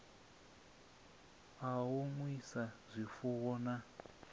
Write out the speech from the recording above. a u nwisa zwifuwo na